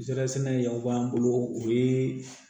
Zɛrɛn sɛnɛ y'aw b'an bolo o ye